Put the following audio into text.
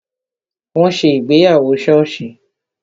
Wọn ṣe ìgbéyàwó soosi